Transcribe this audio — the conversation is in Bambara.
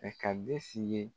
Ɛɛ ka be si ye